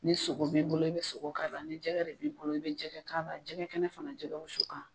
Ni sogo b'i bolo i bɛ sogo k'a la ni jɛgɛ re b'i bolo i bɛ jɛgɛ k'a la jɛgɛ kɛnɛ fana jɛgɛ wusu kan.